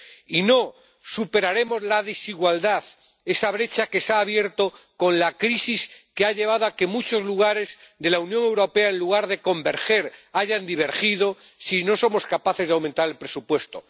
Y no superaremos la desigualdad, esa brecha que se ha abierto con la crisis y que ha llevado a que muchos lugares de la Unión Europea en lugar de converger hayan divergido, si no somos capaces de aumentar el presupuesto.